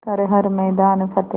कर हर मैदान फ़तेह